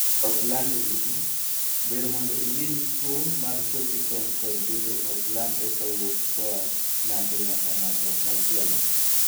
Ok lande gi jii. Ber mondo ing'ee ni tuo mar choke chong kod bede ok landre ka wuok koa ng'ato nyaka ng'at machielo.